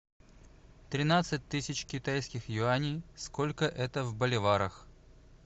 тринадцать тысяч китайских юаней сколько это в боливарах